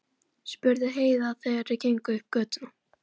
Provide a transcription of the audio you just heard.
spurði Heiða þegar þau gengu upp götuna.